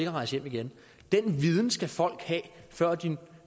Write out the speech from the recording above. at rejse hjem igen den viden skal folk have før de